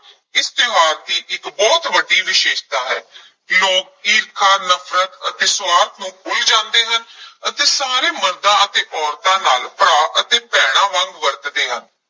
ਇਸ ਤਿਉਹਾਰ ਦੀ ਇੱਕ ਬਹੁਤ ਵੱਡੀ ਵਿਸ਼ੇਸ਼ਤਾ ਹੈ ਲੋਕ ਈਰਖਾ, ਨਫ਼ਰਤ ਅਤੇ ਸੁਆਰਥ ਨੂੰ ਭੁੱਲ ਜਾਂਦੇ ਹਨ ਅਤੇ ਸਾਰੇ ਮਰਦਾਂ ਅਤੇ ਔਰਤਾਂ ਨਾਲ ਭਰਾ ਅਤੇ ਭੈਣਾਂ ਵਾਂਗ ਵਰਤਦੇ ਹਨ।